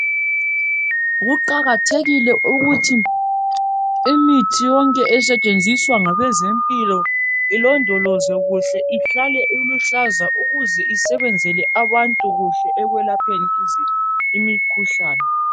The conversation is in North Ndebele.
Kuqakathekile ukuthi imithi yonke esetshenziswa ngabezempilo ilondolozwe kuhle ihlale iluhlaza ukuze isebenzele abantu kuhle ekwelapheni imikhuhlane